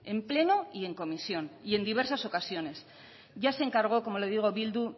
en pleno y en comisión y en diversas ocasiones ya se encargó como le digo bildu